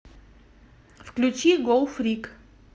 включи гоу фрик